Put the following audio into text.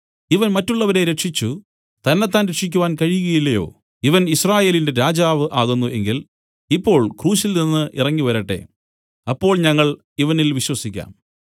ഇവൻ മറ്റുള്ളവരെ രക്ഷിച്ചു തന്നെത്താൻ രക്ഷിക്കാൻ കഴിയുകയില്ലയോ ഇവൻ യിസ്രായേലിന്റെ രാജാവ് ആകുന്നു എങ്കിൽ ഇപ്പോൾ ക്രൂശിൽനിന്ന് ഇറങ്ങിവരട്ടെ അപ്പോൾ ഞങ്ങൾ ഇവനിൽ വിശ്വസിക്കാം